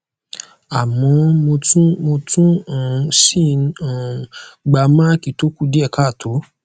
àmọ mo tún mo tún um ń si um n gba maaki to ku die kaato